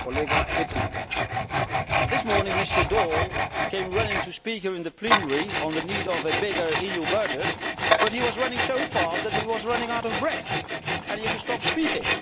Mr President, this morning, Mr Daul came running to speak here in the plenary on the need for a bigger EU budget, but he was running so fast that he was running out of breath and had to stop speaking.